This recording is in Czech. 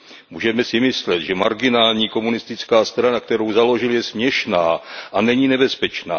Můžeme si myslet, že marginální komunistická strana, kterou založil, je směšná a není nebezpečná.